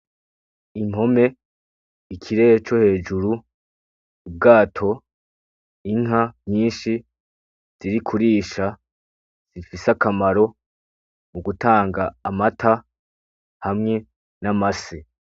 Impome ikirere co hejuru ubwato inka nyinshi ziri kurisha zifise akamaro mugutanga Amata hamwe n'amase.